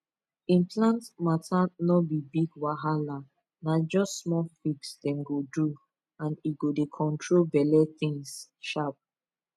implant matter no be big wahala na just small fix dem go do and e go dey control belle things sharp pause